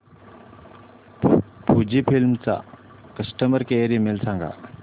Fujifilm चा customer care email सांगा